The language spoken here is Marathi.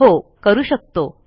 हो करू शकतो